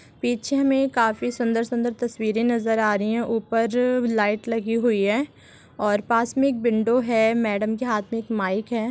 पीछे हमे काफी सुंदर-सुंदर तस्वीरें नजर आ रही है ऊपर लाइट लगी हुई है और पास मे एक विंडो है मैडम के हाथ मे माइक है।